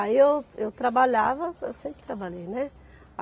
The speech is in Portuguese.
Aí eu eu trabalhava, eu sempre trabalhei, né?